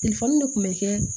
de kun be kɛ